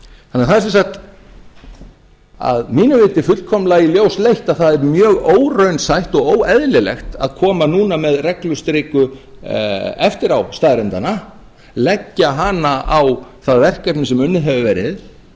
það er sem sagt að mínu viti fullkomlega í ljós leitt að það er mjög óraunsætt og mjög óeðlilegt að koma núna með reglustiku eftirástaðreyndanna leggja hana á það verkefni sem unnið hefur verið